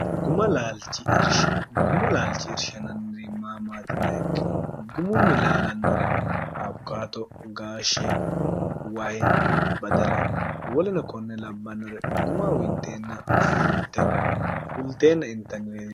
guma laalchi irshananniri maamaatina ikkiro gumunni laalannori abukato gaashshe waye badala woline konne labbannore guma winxeenn fulteenna intannirene